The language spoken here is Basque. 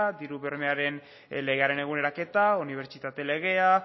diru bermearen legearen eguneraketa unibertsitate legea